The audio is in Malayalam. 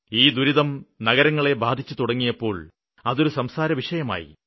ഈ ദുരിതം നഗരങ്ങളെ ബാധിച്ചുതുടങ്ങിയപ്പോള് അതൊരു സംസാരവിഷയമായി